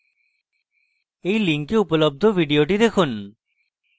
এই link উপলব্ধ video দেখুন